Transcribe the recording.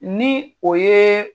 Ni o ye